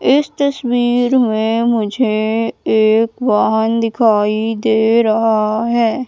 इस तस्वीर में मुझे एक वाहन दिखाई दे रहा है।